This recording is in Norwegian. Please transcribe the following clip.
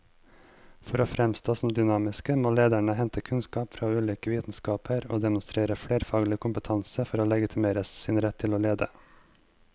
For å framstå som dynamiske må lederne hente kunnskap fra ulike vitenskaper og demonstrere flerfaglig kompetanse for å legitimere sin rett til å lede.